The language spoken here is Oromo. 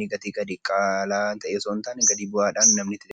gatii gadi bu'aadhaan hojjata.